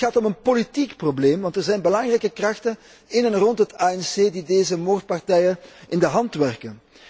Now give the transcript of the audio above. Het gaat om een politiek probleem, want er zijn belangrijke krachten in en rond het ANC die deze moordpartijen in de hand werken.